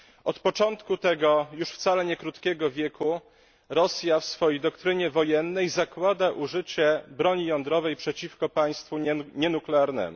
Od początku tego już wcale nie krótkiego wieku Rosja w swojej doktrynie wojennej zakłada użycie broni jądrowej przeciwko państwu nienuklearnemu.